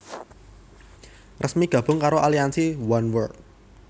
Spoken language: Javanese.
resmi gabung karo aliansi Oneworld